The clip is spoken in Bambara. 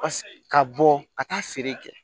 Ka bɔ ka taa feere kɛ